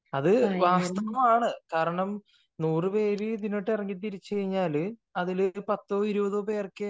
അത് വാസ്തവമാണ് കാരണം നൂറു പേര് ഇതിലോട്ട് ഇറങ്ങിത്തിരിച്ചു കഴിഞ്ഞാൽ അതിലേക്ക് പത്തോ ഇരുപത് പേർക്കേ